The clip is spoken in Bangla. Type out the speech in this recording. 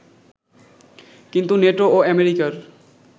কিন্তু নেটো ও অ্যামেরিকার